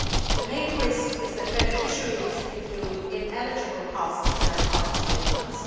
The main risk is that beneficiaries include ineligible costs in their costs statements.